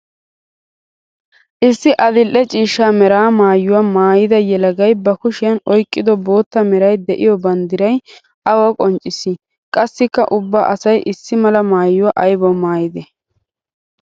Issi adli'e ciishsha mera maayuwa maayidda yelagay ba kushiyan oyqqiddo bootta meray de'iyo banddiray awa qonccissi? Qassikka ubba asay issi mala maayuwa aybbawu maayidde?